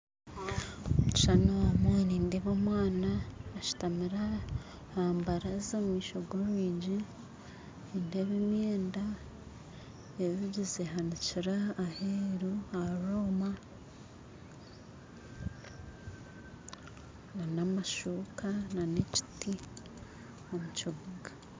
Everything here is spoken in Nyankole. Omu kishuushani omu nindeeba omwana ashutamire aha baranza omumaisho g'orwigi nindeeba emyenda eyogize ehanikire aha rwoma n'amashuuka n'ekiti omukibunga